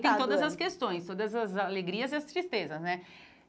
tem todas as questões, todas as alegrias e as tristezas, né?